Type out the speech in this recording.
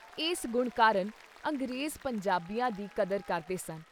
ਇਸ ਗੁਣ ਕਾਰਨ ਅੰਗਰੇਜ਼ ਪੰਜਾਬੀਆਂ ਦੀ ਕਦਰ ਕਰਦੇ ਸਨ।